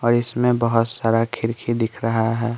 और इसमें बहुत सारा खिरखी दिख रहा है।